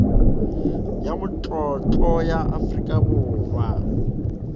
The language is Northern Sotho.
ya matlotlo ya afrika borwa